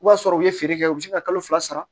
I b'a sɔrɔ u ye feere kɛ u bi se ka kalo fila sara